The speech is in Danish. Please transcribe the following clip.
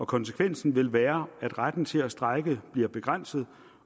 konsekvensen vil være at retten til at strejke bliver begrænset